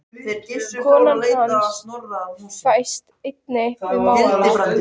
Kona hans fæst einnig við að mála.